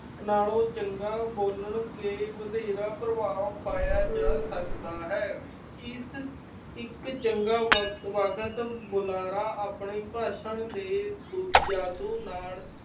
ਨਾਲੋਂ ਚੰਗਾ, ਬੋਲ ਕੇ ਵਧੇਰਾ ਪ੍ਰਭਾਵ ਪਾਇਆ ਜਾ ਸਕਦਾ ਹੈ। ਇਸ ਇੱਕ ਚੰਗਾ ਚੰਗਾ ਵਕ ਅਹ ਵਕਤ ਬੁਲਾਰਾ, ਆਪਣੀ ਭਾਸ਼ਾ ਦੇ ਜਾਦੂ ਨਾਲ